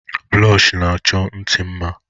Blọshi na-achọ ntì mma.